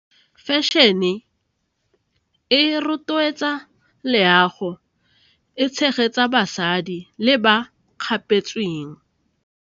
Fashion-e e rotloetsa leago, e tshegetsa basadi le ba kgapetsweng.